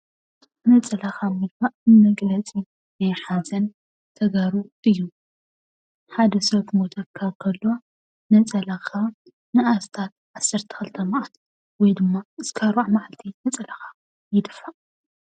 ነፀላኻ ምድፋእ መግለፂ ናይ ሓዘን ናይ ተጋሩ እዩ፡፡ ሓደ ሰብ ክሞተካ እንከሎ ነፀላኻ ንኣስታት ዓሰርተ ክልተ መዓልቲ ወይ ድማ ክሳብ ኣርባዓ መዓልቲ ነፀላኻ ይድፋእ፡፡